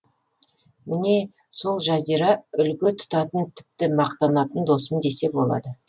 міне сол жазира үлгі тұтатын тіпті мақтанатын досым десе болады